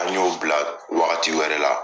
A y'o bila wagati wɛrɛ la